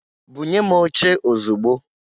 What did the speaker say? Bunye m oche ozugbo!